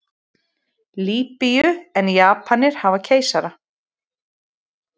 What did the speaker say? Lýbíu en Japanir hafa keisara.